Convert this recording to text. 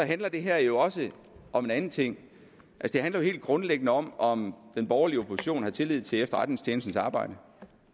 handler det her jo også om en anden ting det handler jo helt grundlæggende om om den borgerlige opposition har tillid til efterretningstjenestens arbejde